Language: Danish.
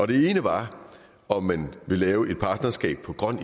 det ene var om man ville lave et partnerskab om grøn